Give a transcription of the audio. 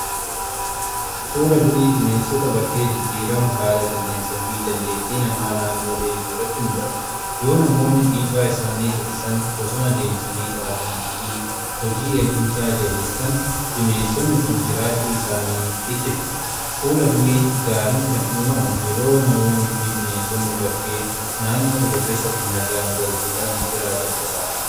fuula durii bineensota bakkee jijjiirama haala qilleensaa fi dandeettii namaa naannoo eeguu irratti hundaa'udha. yoo namoonni dhiibbaa isaanii hir'isan, bosona deebisanii dhaabanii fi hojii eegumsaa jabeessan bineensonni kun jiraachuu isaanii itti fufu. fuula durii gaariin kan uumamu yeroo namoonni fi bineensonni bakkee naannoo tokko keessatti nagaan walqixa jiraatan qofaadha.